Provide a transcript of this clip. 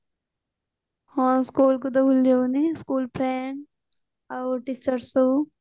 ହଁ school କୁ ତ ଭୁଲି ଯାଇଥିଲି school friend ଆଉ teachers ସବୁ